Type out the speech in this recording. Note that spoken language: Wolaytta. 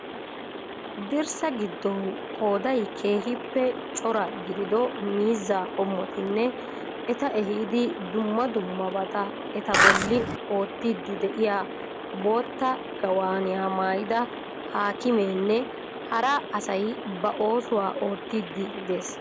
Dirssa gidoon qooday keehiippe cora gidido miizzaa qomottinne eta ehiid dumma dummabaata eta bolli oottidi de'iya bootta gaawaaniya maayida haakimeenne hara asay ba oossuwaa otyidi dees.